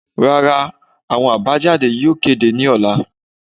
Rara, awọn abajade yóò kede ni ọla